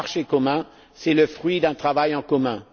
Un marché commun, c'est le fruit d'un travail en commun.